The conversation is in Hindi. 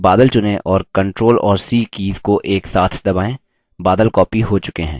बादल चुनें और ctrl और c कीज़ को एक साथ दबाएँ